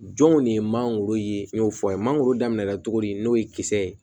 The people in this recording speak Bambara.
Jɔnw de ye mangoro ye n y'o fɔ a ye mangoro daminɛ na cogo di n'o ye kisɛ ye